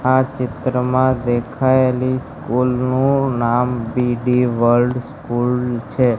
આ ચિત્રમાં દેખાયેલી સ્કુલ નું નામ બી ડી વર્લ્ડ સ્કૂલ છે.